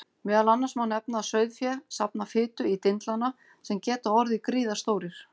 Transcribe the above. Meðal annars má nefna að sauðfé safnar fitu í dindlana sem geta orðið gríðarstórir.